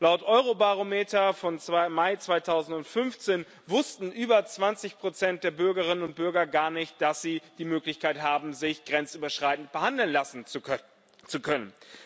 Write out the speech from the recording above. Laut Eurobarometer vom Mai 2015 wussten über 20 der Bürgerinnen und Bürger gar nicht, dass sie die Möglichkeit haben, sich grenzüberschreitend behandeln zu lassen.